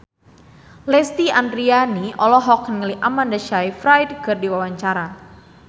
Lesti Andryani olohok ningali Amanda Sayfried keur diwawancara